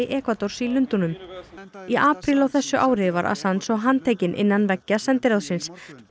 Ekvadors í Lundúnum í apríl á þessu ári var svo handtekinn innan veggja sendiráðsins